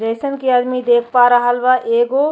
जइसन कि आदमी देख पा रहल बा एगो --